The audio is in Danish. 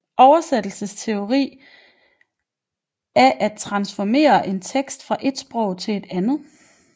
Oversættelsesteori er studiet af at transformere en tekst fra ét sprog til et andet